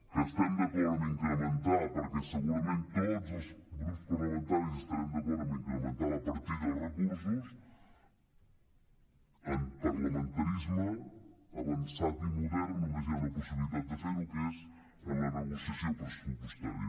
que estem d’acord en incrementar perquè segurament tots els grups parlamentaris estarem d’acord en incrementar la partida i els recursos en parlamentarisme avançat i modern només hi ha una possibilitat de fer ho que és en la negociació pressupostària